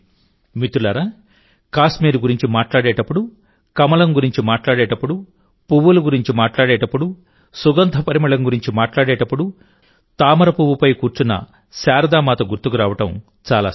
మిత్రులారాకాశ్మీర్ గురించి మాట్లాడేటప్పుడు కమలం గురించి మాట్లాడేటప్పుడు పువ్వుల గురించి మాట్లాడేటప్పుడు సుగంధ పరిమళం గురించి మాట్లాడేటప్పుడు తామర పువ్వుపై కూర్చున్న శారదామాత గుర్తుకు రావడం చాలా సహజం